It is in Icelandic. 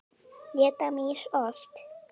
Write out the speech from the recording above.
Éta mýs ost?